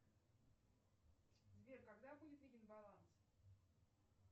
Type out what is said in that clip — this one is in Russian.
сбер когда будет виден баланс